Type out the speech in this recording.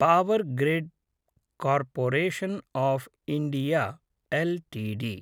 power grid corporation of India LTD